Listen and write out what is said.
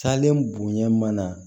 Salen bonya mana